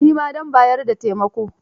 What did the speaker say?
Ni ma zan bayar da taimakon.